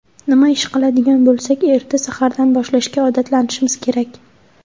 Nima ish qiladigan bo‘lsak, erta sahardan boshlashga odatlanishimiz kerak.